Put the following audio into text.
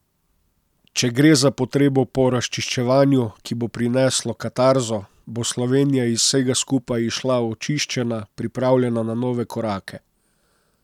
Če gre za potrebo po razčiščevanju, ki bo prineslo katarzo, bo Slovenija iz vsega skupaj izšla očiščena, pripravljena za nove korake.